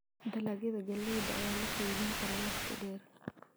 Dalagyada galleyda ayaa la keydin karaa waqti dheer.